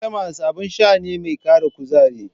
Klimas abin sha ne mai ƙara kuzari.